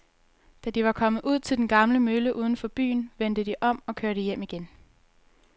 Da de var kommet ud til den gamle mølle uden for byen, vendte de om og kørte hjem igen.